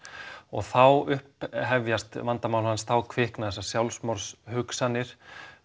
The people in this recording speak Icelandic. þá upphefjast vandamál hans þá kvikna þessar sjálfsvígshugsanir